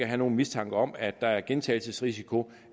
have en mistanke om at der er gentagelsesrisiko